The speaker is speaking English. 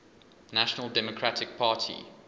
national democratic party